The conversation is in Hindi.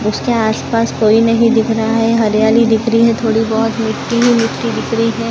उसके आस पास कोई नहीं दिख रहा है हरियाली दिख रही है थोड़ी बहोत मिट्टी ही मिट्टी दिख रही है।